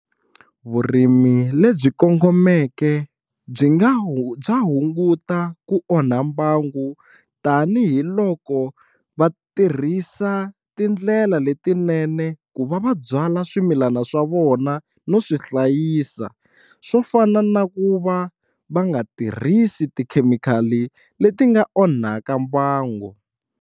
Vurimi lebyi kongomeke byi nga bya hunguta ku onha mbangu tanihiloko va tirhisa tindlela letinene ku va va byala swimilana swa vona no swi hlayisa swo fana na ku va va nga tirhisi tikhemikhali leti nga onhaka mbangu.